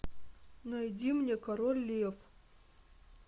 найди мне король лев